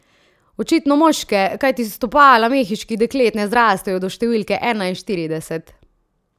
Očitno moške, kajti stopala mehiških deklet ne zrastejo do številke enainštirideset.